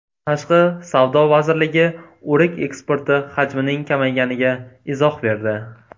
Tashqi savdo vazirligi o‘rik eksporti hajmining kamayganiga izoh berdi.